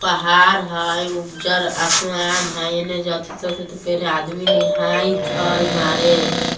पहाड़ हई उज्जर आसमान हई एने जथि तथी ते पेड़ है | आदमी निहाइत हई मारे